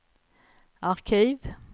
arkiv